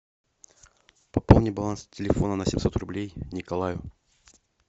пополни баланс телефона на семьсот рублей николаю